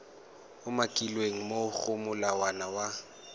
umakilweng mo go molawana wa